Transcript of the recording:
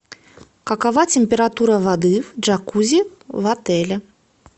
какова температура воды в джакузи в отеле